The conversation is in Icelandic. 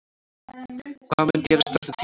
Hvað mun gerast eftir tímabilið?